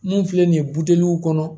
Mun filɛ nin ye buteliw kɔnɔ